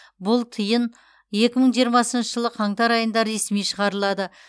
бұл тиын екі мың жиырмасыншы жылы қаңтар айында ресми шығарылады